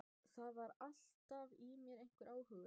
Það var alltaf í mér einhver óhugur.